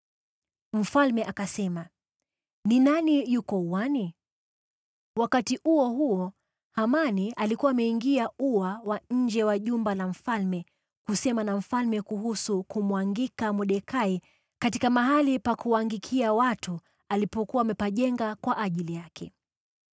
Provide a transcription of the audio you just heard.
Mfalme akasema, “Ni nani yuko uani?” Wakati huo huo Hamani alikuwa ameingia ua wa nje wa jumba la mfalme kusema na mfalme kuhusu kumwangika Mordekai katika mahali pa kuangikia watu alipokuwa amepajenga kwa ajili yake.